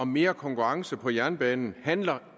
om mere konkurrence på jernbanen handler